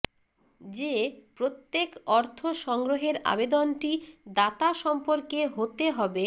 যে প্রত্যেক অর্থ সংগ্রহের আবেদনটি দাতা সম্পর্কে হতে হবে